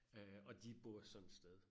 Øh og de bor sådan et sted